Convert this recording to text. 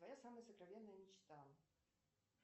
моя самая сокровенная мечта